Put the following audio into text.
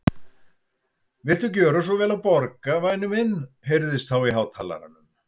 Viltu gjöra svo vel að borga, væni minn heyrðist þá í hátalaranum.